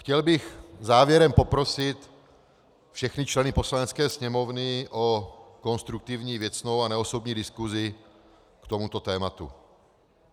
Chtěl bych závěrem poprosit všechny členy Poslanecké sněmovny o konstruktivní, věcnou a neosobní diskusi k tomuto tématu.